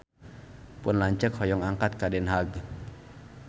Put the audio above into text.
Pun lanceuk hoyong angkat ka Den Haag